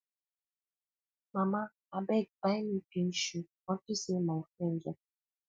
mama abeg buy me pink shoe unto say my friend get am